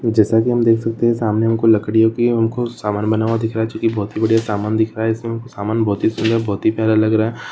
जैसा की हम देख सकते सामने हमको लकड़ियों का कुछ सामान दिख रहा है जो की बहुत ही बढ़िया सामान दिख रहा है सामान बहुत ही सूंदर बहुत ही प्यारा लग रहा है।